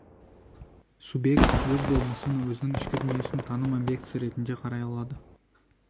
субъект өз болмысын өзінің ішкі дүниесін таным объектісі ретінде қарай алады